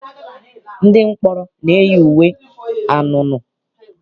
Ndị mkpọrọ na-eyi uwe anunuu.